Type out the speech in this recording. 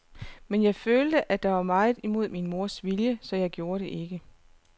Men jeg følte, at det var meget imod min mors vilje, så jeg gjorde det ikke.